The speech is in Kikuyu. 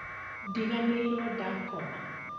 Ndiganĩirwo ndakoma